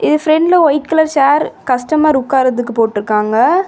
இது பிரண்ட்ல white colour chair customer உட்காரத்துக்கு போட்டுருக்காங்க.